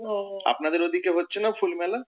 আপনাদের ওইদিকে হচ্ছে না ফুল মেলা?